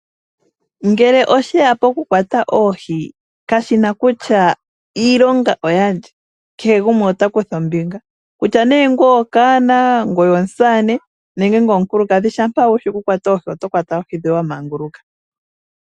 Ngele oshe ya poku kwata oohi, kashina kutya iilonga oyalye, kehe gumwe ota kutha ombinga. Kutya nee ngwee okaana, omusamane, nenge omukulukadhi, shampa owala wushi okukwata oohi, oto vulu okukwata oohi dhoye wamanguluka.